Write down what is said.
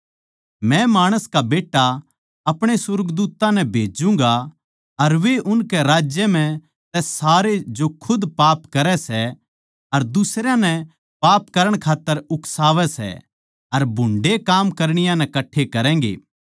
मै माणस का बेट्टा अपणे सुर्गदूत्तां नै भेज्जूँगा अर वे उसकै राज्य म्ह तै सारे जो खुद पाप करै सै अर दुसरयां नै पाप करण खात्तर उकसावै सै अर भुन्डे़ काम करणीया नै कट्ठे करैगें